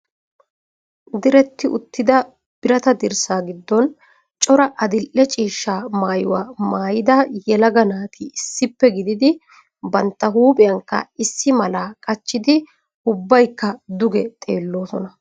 Diretti uttida biratta dirssaa giddon cora adil"e ciishshaa maayuwa maayada yelaga naati issippe gididi bantta huuphiyankka issi malaa qachchidi ubbakka duge xeelloosona.